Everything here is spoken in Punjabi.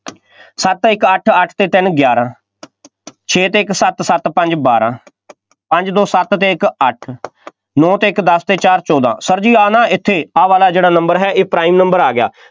ਸੱਤ, ਇੱਕ, ਅੱਠ, ਅੱਠ ਅਤੇ ਤਿੰਨ, ਗਿਆਰਾਂ ਛੇ ਅਤੇ ਇੱਕ ਸੱਤ, ਸੱਤ, ਪੰਜ, ਬਾਰਾਂ ਪੰਜ, ਦੋ, ਸੱਤ ਅਤੇ ਇੱਕ ਅੱਠ, ਨੌ ਅਤੇ ਇੱਕ ਦਸ ਅਤੇ ਚਾਰ ਚੋਦਾਂ, Sir ਜੀ ਆਹ ਨਾ ਇੱਥੇ ਆਹ ਵਾਲਾ ਜਿਹੜਾ number ਹੈ ਇਹ prime number ਆ ਗਿਆ,